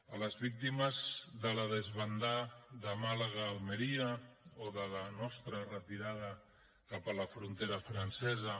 a les víctimes de la desbandá de màlaga a almeria o de la nostra retirada cap a la frontera francesa